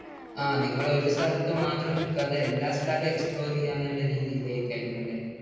ആ നിങ്ങൾ ഒരു സ്ഥലത്ത് മാത്രം നിൽക്കാതെ എല്ലാ സ്ഥലവും explore ചെയ്യാം എന്നുള്ള രീതിയിലേക്ക് ആയിരുന്നു അല്ലേ?